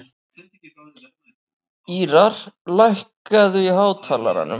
Ýrar, lækkaðu í hátalaranum.